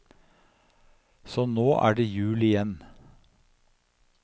Så nå er det jul igjen.